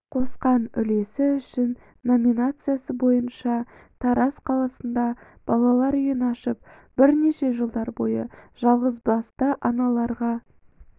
қосқан үлесі үшін номинациясы бойынша тараз қаласында балалар үйін ашып бірнеше жылдар бойы жалғызбасты аналарға